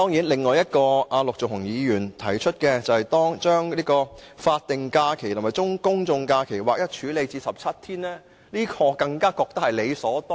陸頌雄議員提出的另一項建議，是將法定假期和公眾假期劃一為17天，我認為這更加是理所當然的。